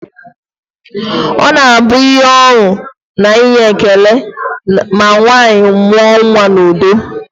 Ọ na-abụ ihe ọṅụ na inye ekele ma nwaanyị mụọ nnwa n'udo